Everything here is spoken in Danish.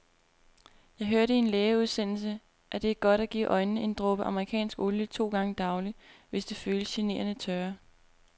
Jeg hørte i en lægeudsendelse, at det er godt at give øjnene en dråbe amerikansk olie to gange daglig, hvis de føles generende tørre.